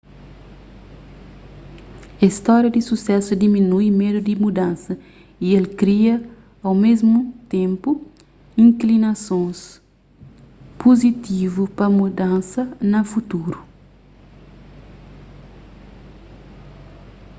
es stória di susésu diminui médu di mudansa y el kria au mésmu ténpu inklinasons puzitivu pa mudansa na futuru